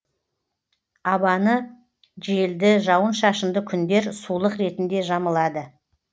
абаны желді жауын шашынды күндер сулық ретінде жамылады